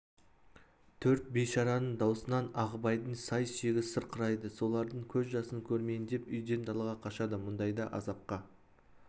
төрт бейшараның даусынан ағыбайдың сай-сүйегі сырқырайды солардың көз жасын көрмейін деп үйден далаға қашады мұндайда азапқа